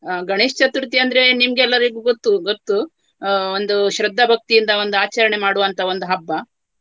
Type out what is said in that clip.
ಅಹ್ ಗಣೇಶ್ ಚತುರ್ಥಿ ಅಂದ್ರೆ ನಿಮ್ಗೆಲ್ಲರಿಗೆ ಗೊತ್ತು ಗೊತ್ತು. ಅಹ್ ಒಂದು ಶ್ರದ್ಧಭಕ್ತಿಯಿಂದ ಒಂದು ಆಚರಣೆ ಮಾಡುವಂತಹ ಒಂದು ಹಬ್ಬ.